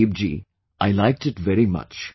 Pradeep ji I liked it very much